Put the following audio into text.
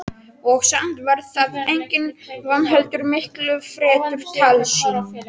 Og samt var það engin von heldur miklu fremur tálsýn.